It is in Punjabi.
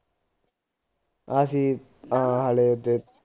ਆਹੀ ਆ ਹਾਲੇ ਤੇ